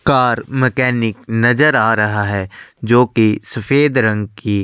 car mechanic नज़र आ रहा है जो की सफेद रंग की--